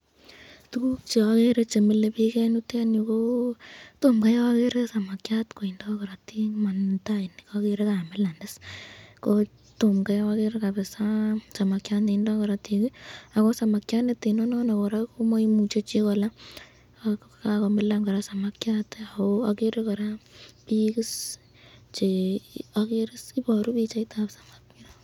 Tukuk cheagere chemilebik eng yu ,tom Kai agere samakyat netindo koratik, kamilan noton , samakyat neteno non koraa komaimuche chi kola,